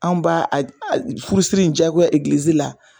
Anw b'a furusi in jagoya la